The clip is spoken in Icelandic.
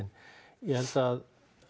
ég held að